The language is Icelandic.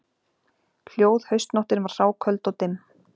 Hljóð haustnóttin var hráköld og dimm